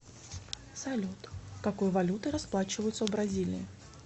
салют какой валютой расплачиваются в бразилии